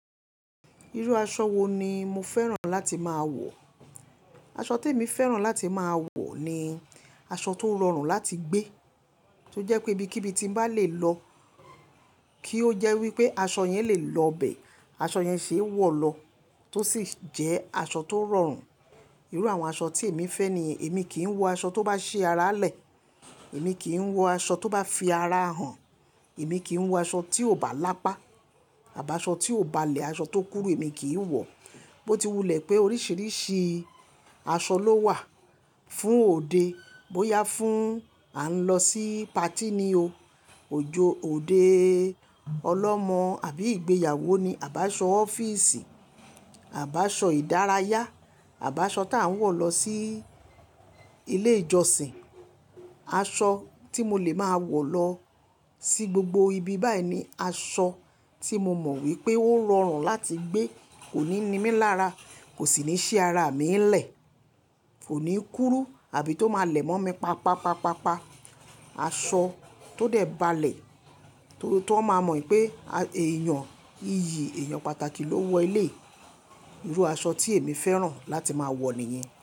Irú aṣọ wo ni mo fẹ́ràn láti máa wọ̀? Aṣọ témi fẹ́ràn láti máa wọ̀ ni aṣọ tó rọrùn láti gbé, tó jẹ́ pé ibikíbi tí ń bá lè lọ, kí ó jẹ́ wí pé aṣọ yẹn lè lọ'bẹ̀, aṣọ yẹn ṣeé wọ̀ lọ, tó sì jẹ́ aṣọ tó rọrùn. Irú àwọn aṣọ tí èmi fẹ́ nìyẹn, èmi kì í wọ aṣọ tó bá ṣí ara lẹ̀, èmi kì í wọ aṣọ tó bá fi ara hàn, èmi kì í wọ aṣọ tí ò bá lápá, àbáṣọ tí ò balẹ̀, aṣọ tó kúrú èmi kì í wọ̀ọ́. Bó ti wulẹ̀ pé oríṣìíríṣìí aṣọ ló wà fún òde, bóyá fún à ń lọ sí patí ni o, òjò òde ọlọ́mọ àbí ìgbéyàwó ni, àbáṣọ ọ́fíìsì, àbáṣọ ìdárayá, àbáṣọ táà ń wọ̀ lọ sí ilé ìjọsìn. Aṣọ tí mo lè máa wọ̀ lọ sí gbogbo ibi báyìí ni aṣọ tí mo mọ̀ wípé ó rọrùn láti gbé, kò ní ni mí lára, kò sì ní ṣé ara mi ńlẹ̀, kò ní kúrú àbí tó máa lẹ̀ mọ́ mi pa, pa, pa, pa, pa. Aṣọ tó dẹ̀ balẹ̀, t'ọ́n máa mọ̀ pé èèyàn iyì, èèyàn pàtàkì ló wọ eléyìí. Irú aṣọ tí èmi fẹ́ràn láti máa wọ̀ nìyẹn.